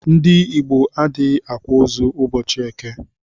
Ndi igbo adighi akwa ozu ubọchi eke.